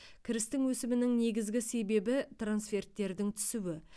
кірістің өсімінің негізгі себебі трансферттердің түсуі